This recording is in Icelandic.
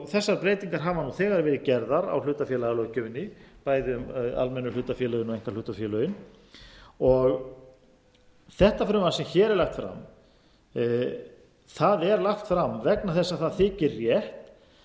þessar breytingar hafa þegar verið gerðar á hlutafélagalöggjöfinni bæði um almennu hlutafélögin og einkahlutafélögin þetta frumvarp sem hér er lagt fram er lagt fram vegna þess að það þykir